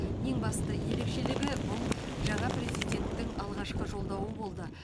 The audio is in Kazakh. ең басты ерекшелігі бұл жаңа президенттің алғашқы жолдауы болды